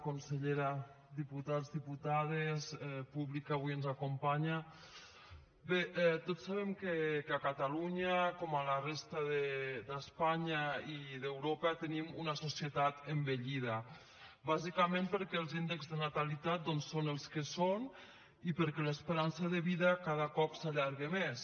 consellera diputats diputades públic que avui ens acompanya bé tots sabem que a catalunya com a la resta d’espanya i d’europa tenim una societat envellida bàsicament perquè els índexs de natalitat doncs són els que són i perquè l’esperança de vida cada cop s’allarga més